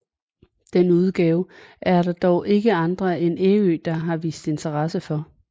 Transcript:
Den udgave er der dog ikke andre end Ærø der har vist interesse for